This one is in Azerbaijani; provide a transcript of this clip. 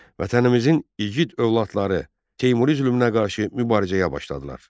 Vətənimizin igid övladları Temuri zülmünə qarşı mübarizəyə başladılar.